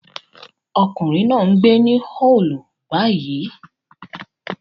Ọkùnrin náà ń gbé ní Hull báyìí